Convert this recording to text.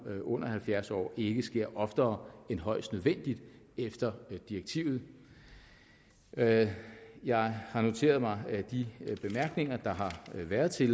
under halvfjerds år ikke sker oftere end højst nødvendigt efter direktivet jeg jeg har noteret mig de bemærkninger der har været til